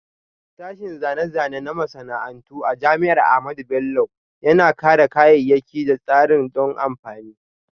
Sashen Zane-zane na Masana'antu a Jami'ar Ahmadu Bello Yana Kera kayayyaki da tsarin don amfani.